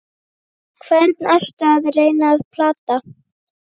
Hvern ertu að reyna að plata?